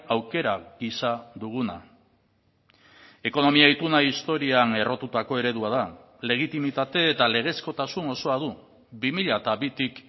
aukera gisa duguna ekonomia ituna historian errotutako eredua da legitimitate eta legezkotasun osoa du bi mila bitik